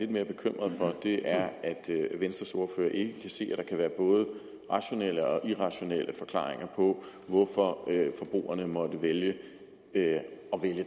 mere bekymret for er at venstres ordfører ikke kan se at der kan være både rationelle og irrationelle forklaringer på hvorfor forbrugerne måtte ønske at vælge